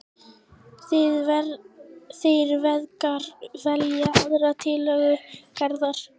Þeir feðgar velja aðra tillögu Gerðar.